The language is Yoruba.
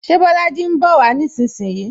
Ṣé Bolaji ń bowa nísinsìnyí?